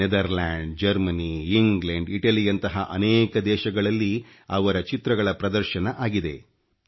Netherland Germany England Italy ಯಂತಹ ಅನೇಕ ದೇಶಗಳಲ್ಲಿ ಅವರ ಚಿತ್ರಗಳ ಪ್ರದರ್ಶನ ಆಗಿದೆ